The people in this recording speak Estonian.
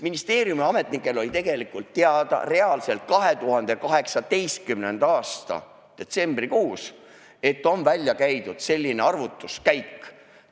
Ministeeriumi ametnikel oli tegelikult teada reaalselt 2018. aasta detsembrikuus, et on välja käidud selline arvutuskäik.